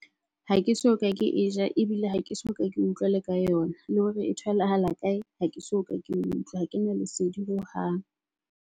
Ha ke soka ke e ja ebile ha ke soka ke utlwela ka yona. Le hore e tholahala kae, ha ke soka ke utlwa ha kena lesedi hohang.